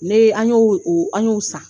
Ne an ye an y'o san